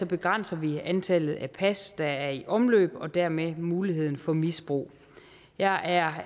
begrænser vi antallet af pas der er i omløb og dermed muligheden for misbrug jeg er